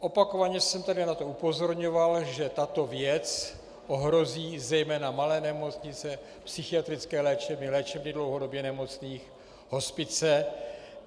Opakovaně jsem tady na to upozorňoval, že tato věc ohrozí zejména malé nemocnice, psychiatrické léčebny, léčebny dlouhodobě nemocných, hospice.